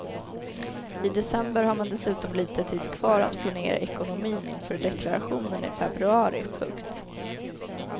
I december har man dessutom lite tid kvar att planera ekonomin inför deklarationen i februari. punkt